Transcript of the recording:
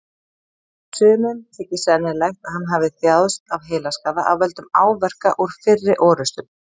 Sumum þykir sennilegt að hann hafi þjáðst af heilaskaða af völdum áverka úr fyrri orrustum.